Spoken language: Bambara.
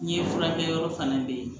N ye furakɛ yɔrɔ fana bɛɛ ye